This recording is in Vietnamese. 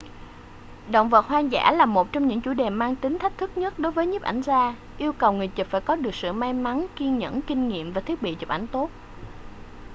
động vật hoang dã là một trong những chủ đề mang tính thách thức nhất đối với nhiếp ảnh gia yêu cầu người chụp phải có được sự may mắn kiên nhẫn kinh nghiệm và thiết bị chụp ảnh tốt